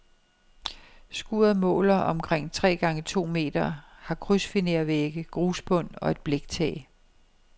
Skuret måler omkring tre gange to meter, har krydsfinervægge, grusbund og et bliktag.